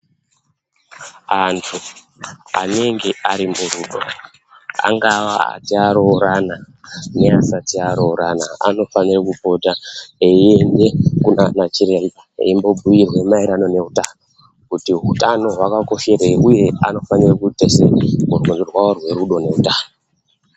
Antu anenge ari murufo angava ati arorana neasatai arorana anofanire kupota eiende kunanan chiremba eimbobhiirwe maringe neutano kuti utano hwakakosherei uye anofanira kuita sei rwendo rwawo rwerudo neutano.